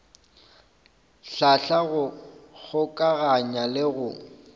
hlahla go kgokaganya le go